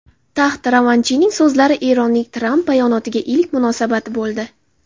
Taxt-Ravanchining so‘zlari Eronning Tramp bayonotiga ilk munosabati bo‘ldi.